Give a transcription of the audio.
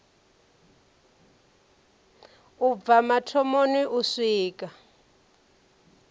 u bva mathomoni u swika